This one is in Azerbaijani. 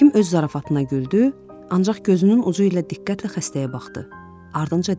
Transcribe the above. Həkim öz zarafatına güldü, ancaq gözünün ucu ilə diqqətlə xəstəyə baxdı, ardınca dedi.